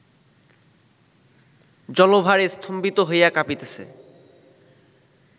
জলভারস্তম্ভিত হইয়া কাঁপিতেছে